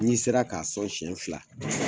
N'i sera ka sɔn siɲɛ fila